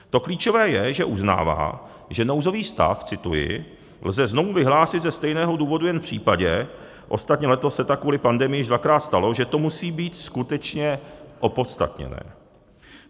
To klíčové je, že uznává, že nouzový stav - cituji - lze znovu vyhlásit ze stejného důvodu jen v případě, ostatně letos se tak kvůli pandemii již dvakrát stalo, že to musí být skutečně opodstatněné.